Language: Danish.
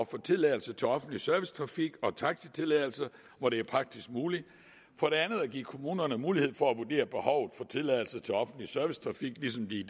for tilladelse til offentlig servicetrafik og taxitilladelse hvor det er praktisk muligt for det andet at give kommunerne mulighed for at vurdere behovet for tilladelse til offentlig servicetrafik ligesom vi